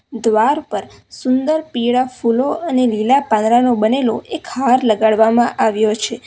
દ્વાર પર સુંદર પીળા ફૂલો અને લીલા પાંદડા નો બનેલો એક હાર લગાડવામાં આવ્યો છે.